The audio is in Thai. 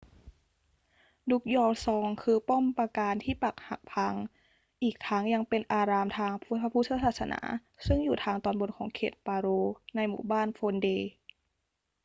drukgyal dzong คือป้อมปราการที่ปรักหักพัง อีกทั้งยังเป็นอารามทางพระพุทธศาสนาซึ่งอยู่ทางตอนบนของเขต paro ในหมู่บ้าน phondey